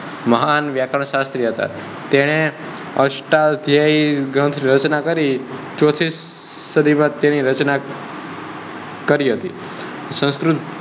મહાન વ્યાકરણ શાસ્ત્રી હતા. તેને અષ્ટધાય રચના કરી હતી. ચોથી સદી માં તેની રચના કરી હતી સંસ્ક્રુત